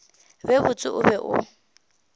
be botse o be o